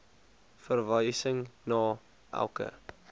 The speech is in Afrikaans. verwysing na elke